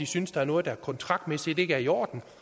synes der er noget der kontraktmæssigt ikke er i orden